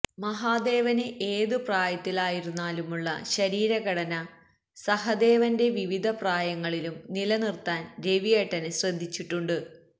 മഹാദേവന് ഏത് പ്രായത്തിലായിരുന്നാലുമുള്ള ശരീരഘടന സഹദേവന്റെ വിവിധ പ്രായങ്ങളിലും നിലനിര്ത്താന് രവിയേട്ടന് ശ്രദ്ധിച്ചിട്ടുണ്ട്